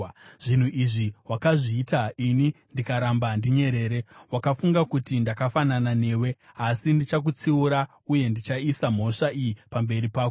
Zvinhu izvi wakazviita ini ndikaramba ndinyerere; wakafunga kuti ndakafanana newe. Asi ndichakutsiura uye ndichaisa mhosva iyi pamberi pako.